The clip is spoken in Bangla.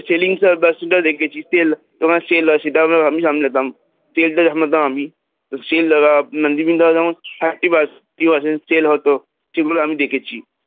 Selling টা দেখেছি sell হয়, তোমার sell হয় সেটা আমি সামলাতাম sell টা সামলাতাম আমি, sell বিভিন্ন ধরনের যেমন thirty first sell হত সেগুলো আমি দেখেছি